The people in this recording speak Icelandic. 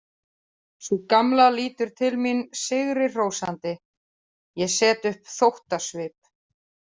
Sú gamla lítur til mín sigri hrósandi, ég set upp þóttasvip.